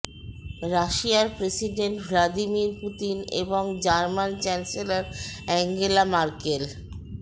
রাশিয়ার president Vladimir Putin এবং German chancellor Angela Markle